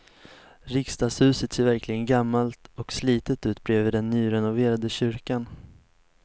Riksdagshuset ser verkligen gammalt och slitet ut bredvid den nyrenoverade kyrkan.